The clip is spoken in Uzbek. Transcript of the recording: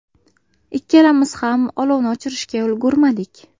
Ikkalamiz ham olovni o‘chirishga ulgurmadik.